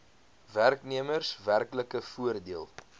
werknemers werklike voordeel